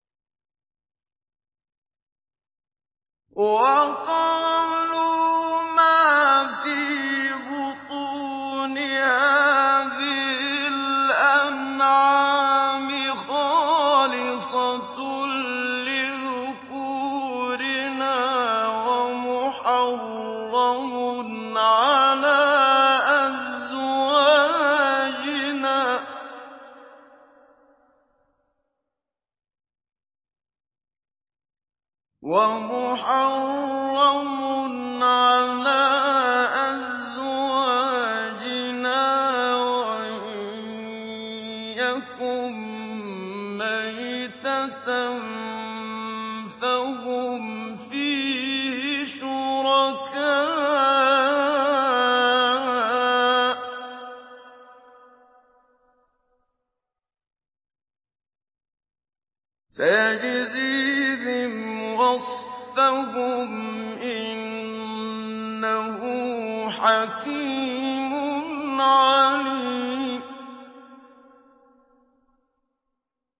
وَقَالُوا مَا فِي بُطُونِ هَٰذِهِ الْأَنْعَامِ خَالِصَةٌ لِّذُكُورِنَا وَمُحَرَّمٌ عَلَىٰ أَزْوَاجِنَا ۖ وَإِن يَكُن مَّيْتَةً فَهُمْ فِيهِ شُرَكَاءُ ۚ سَيَجْزِيهِمْ وَصْفَهُمْ ۚ إِنَّهُ حَكِيمٌ عَلِيمٌ